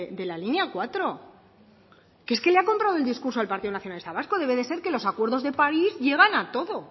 de la línea cuatro que es que le ha comprado el discurso al partido nacionalista vasco debe de ser que los acuerdos de país llevan a todo